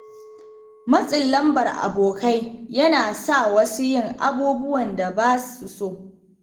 Matsin lambar abokai yana sa wasu yin abubuwan da ba su so.